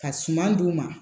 Ka suman d'u ma